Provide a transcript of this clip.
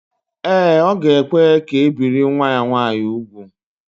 Ee, ọ ga-ekwe ka e biri nwa ya nwaanyị úgwù